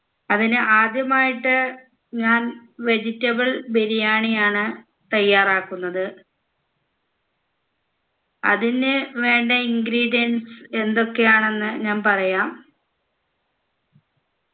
അതിന് ആദ്യമായിട്ട് ഞാൻ vegetable ബിരിയാണി ആണ് തയ്യാറാക്കുന്നത് അതിന് വേണ്ട ingredients എന്തൊക്കെയാണെന്ന് ഞാൻ പറയാം